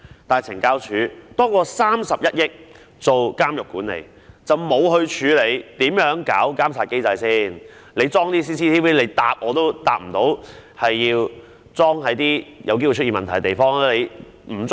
但是，懲教署獲批多於31億元作監獄管理，卻沒有處理如何建立監察機制的問題，連閉路電視會否安裝在有機會出現問題的地方亦未能回答。